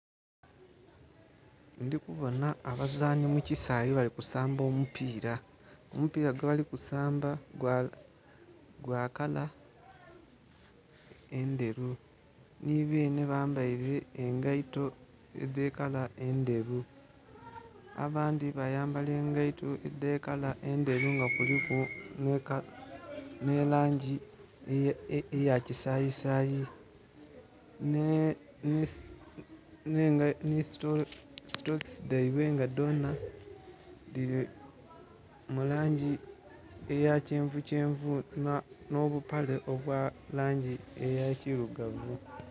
Ndhi kuboonha abazani mu kisaaghe bali kusamba omupiila, omupiila gwebali kusamba gwa kala endheru, nhi beenhe bambaile engaito edhe kala endhelu abandhi bayambala engaito edhe kala endheru nga kuliku nh'elangi eya kisayisaayi, nhee, nhengai nhistokisi dhaibwe nga dhoonha dhili mu langi eya kyenvu kyenvu nha obupale obuli mu langi eyekilugavu.